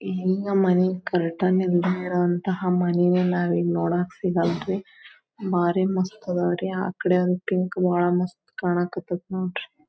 ಹಿಂಗ್ ಮನಿಗ್ ಕರ್ಟನ್ ನಿಮಿರುವಂತಹ ಮನಿಗಳನ್ನು ನೋಡಕ್ ಸಿಗಲ್ಲರಿ ಬಾರಿ ಮಸ್ತ್ ಅದವ್ರಿ ಆಕಡೆ ಅಂತು ಜೋಳ ಮಸ್ತ್ ಕಾಣಕತ್ತತ್ ನೋಡ್ರಿ.